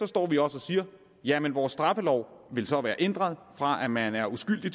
står vi også og siger jamen vores straffelov vil så være ændret fra at man er uskyldig